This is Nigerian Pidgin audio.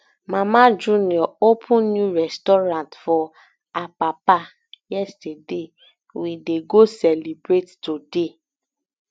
mama junior open new restaurant for apapa yesterday we dey go celebrate today